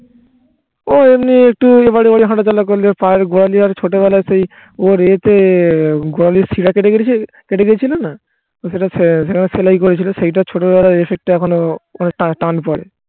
ও এমনি একটু অপারে ওপারে হাঁটাচলা করলে ওর পায়ের গোড়ালি আর ছোটো বেলায় সেই ওর এতে গোড়ালির শিরা কেটে গেছিল কেটে গেছিলোনা তো সেটা সেসেবার সেলাই করেছিল সেইটা ছোটবেলার effect টা এখনো ওখানে টাটান পরে